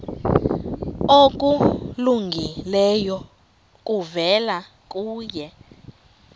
okulungileyo kuvela kuye